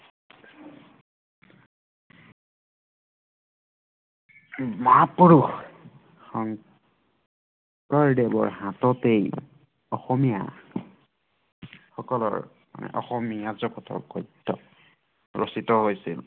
শংকৰদেৱৰ হাততেই অসমীয়া সকলৰ অসমীয়া জগতৰ গদ্য ৰচিত হৈছিল